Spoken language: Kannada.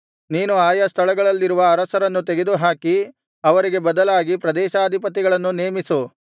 ನೀನು ಆಯಾ ಸ್ಥಳಗಳಲ್ಲಿರುವ ಅರಸರನ್ನು ತೆಗೆದುಹಾಕಿ ಅವರಿಗೆ ಬದಲಾಗಿ ಪ್ರದೇಶಾಧಿಪತಿಗಳನ್ನು ನೇಮಿಸು